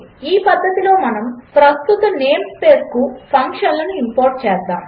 ఈ పద్ధతిలో మనము ప్రస్తుత నేం స్పేస్కు ఫంక్షన్లను ఇంపోర్ట్ చేసాము